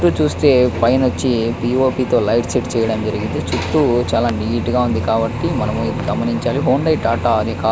ఇక్కడ చూస్తే P O P తో లైట్ సెట్ చేయడం జరిగింది చుట్టూ నీట్ గ వుంది కాబటి మనం గమనించాలి .]